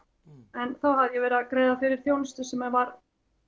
en þá hafði ég verið að greiða fyrir þjónustu sem var